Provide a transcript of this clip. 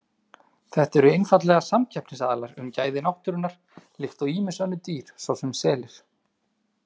Þetta eru einfaldlega samkeppnisaðilar um gæði náttúrunnar, líkt og ýmis önnur dýr svo sem selir.